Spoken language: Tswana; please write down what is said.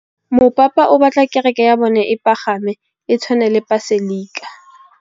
Mopapa o batla kereke ya bone e pagame, e tshwane le paselika.